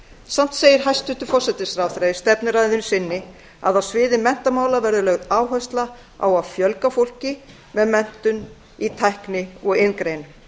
samt segir hæstvirtur forsætisráðherra í stefnuræðu sinni með leyfi forseta á sviði menntamála verður lögð áhersla á að fjölga fólki með menntun í tækni og iðngreinum